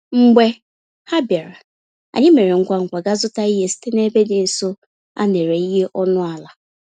Mgbe ha bịara, anyị mèrè ngwá ngwá gaa zụta ihe site n'ebe dị nso, a néré ihe ọnụ àlà